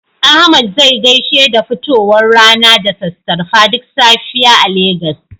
Ahmad zai gaishe da fitowar rana da sassarfa duk safiya a Legas.